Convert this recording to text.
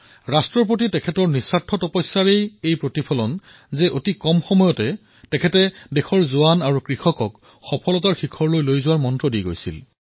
ৰাষ্ট্ৰৰ প্ৰতি তেওঁৰ নিঃস্বাৰ্থ তপস্যাৰ প্ৰতিফলতেই প্ৰায় ডেৰ বছৰৰ সংক্ষিপ্ত কাৰ্যকালত তেওঁ দেশৰ সৈন্য আৰু কৃষকসকলক সফলতাৰ শিখৰলৈ লৈ যোৱাৰ মন্ত্ৰ দি থৈ গৈছিল